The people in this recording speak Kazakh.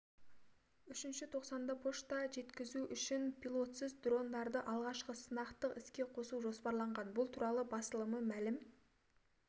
үшінші тоқсанда пошта жеткізу үшін пилотсыз дрондарды алғашқы сынақтық іске қосу жоспарланған бұл туралы басылымы мәлім